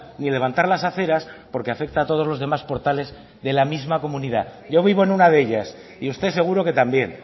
ni levantar las aceras porque afecta a todos los demás portales de la misma comunidad yo vivo en una de ellas y usted seguro que también